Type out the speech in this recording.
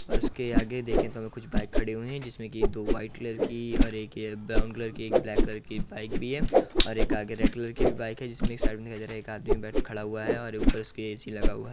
और उसके आगे देखें तो कुछ बाइक खड़ी हुयी हैं जिसमें दो व्हाइट कलर की एक ये ब्राउन कलर की एक ब्लैक कलर की बाइक भी है और एक आगे रेड कलर की भी बाइक है एक आदमी खड़ा हुआ है और ऊपर उसके ए.सी. लगा हुआ --